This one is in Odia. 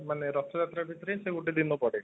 ମାନେ ରଥ ଯାତ୍ରା ଭିତରେ ସେ ଗୋଟେ ଦିନ ପଡେ